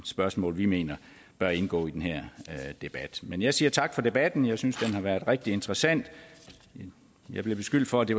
spørgsmål vi mener bør indgå i den her debat men jeg siger tak for debatten jeg synes den har været rigtig interessant jeg bliver beskyldt for at det